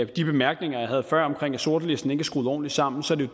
de bemærkninger jeg havde før om at sortlisten ikke er skruet ordentligt sammen så vil